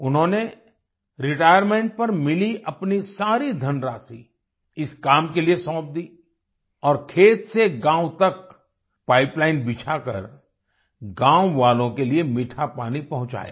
उन्होंने रिटायरमेंट पर मिली अपनी सारी धनराशि इस काम के लिए सौंप दी और खेत से गाँव तक पाइपलाइन बिछाकर गाँव वालों के लिए मीठा पानी पहुंचाया